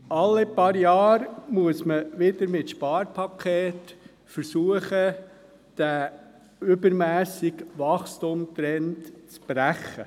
Alle paar Jahre muss wieder mit einem Sparpaket versucht werden, den übermässigen Wachstumstrend zu brechen.